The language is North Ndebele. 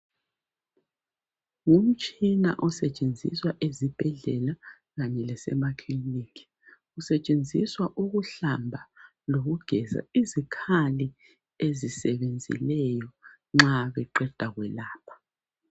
Umtshina osetshenziswa ezibhedlela kanye lasemakiliniki usetshenziswa ukuhlamba kanye lokugeza izikhali ezisebenzileyo nxa beqeda kwelapha